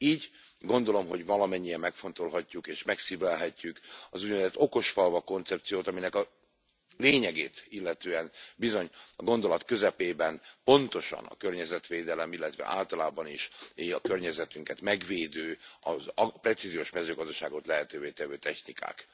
Így gondolom, valamennyien megfontolhatjuk és megszívlelhetjük az úgynevezett okosfalvak koncepciót, aminek a lényegét illetően, bizony a gondolat közepében, pontosan a környezetvédelem, illetve általában is a környezetünket megvédő, a precíziós mezőgazdaságot lehetővé tevő technikák.